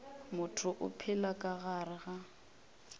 motho o phela ka gare